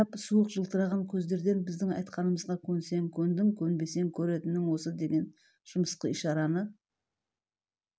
қарап суық жылтыраған көздерден біздің айтқанымызға көнсең көндің көнбесең көретінің осы деген жымысқы ишараны